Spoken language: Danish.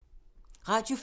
Radio 4